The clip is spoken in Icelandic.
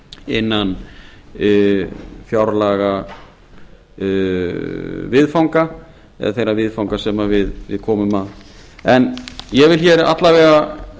innan fjárlagaviðfanga eða þeirra viðfanga sem við komum að ég vil alla vega